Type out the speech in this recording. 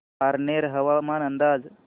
पारनेर हवामान अंदाज